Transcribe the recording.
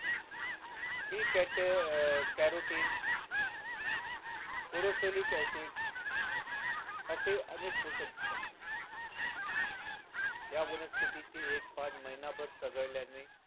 b carotene corosolic acid असे अनेक पोषक घटक आहे या वनस्पती ची एक पान महिनाभर सगळ्यांने